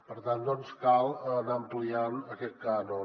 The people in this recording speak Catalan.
per tant doncs cal anar ampliant aquest cànon